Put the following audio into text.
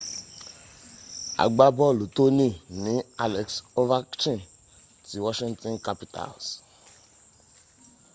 agbábọ̀lù tòní ní alex overchkin ti washington capitals